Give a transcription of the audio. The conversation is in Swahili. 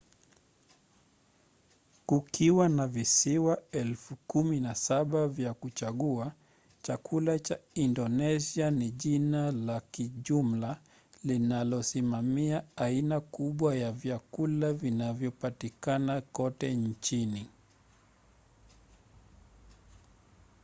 kukiwa na visiwa 17,000 vya kuchagua chakula cha indonesia ni jina la kijumla linalosimamia aina kubwa ya vyakula vinavyopatikana kote nchini